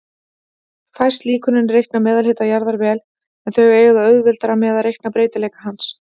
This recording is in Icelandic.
Fæst líkönin reikna meðalhita jarðar vel, en þau eiga auðveldara með að reikna breytileika hans.